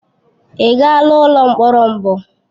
Ị gaala ụlọ mkpọrọ mbụ?